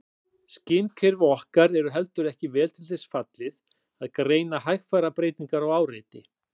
Skynkerfi okkar er heldur ekki vel til þess fallið að greina hægfara breytingar á áreiti.